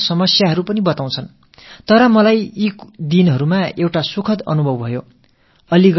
இப்படிப்படிப்பட்ட ஒரு சந்திப்பின் போது எனக்கு ஒரு சுகமான அனுபவம் ஏற்பட்டது